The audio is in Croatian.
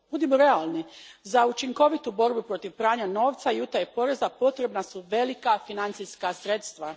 Budimo realni, za učinkovitu borbu protiv pranja novca i utaje poreza potrebna su velika financijska sredstva.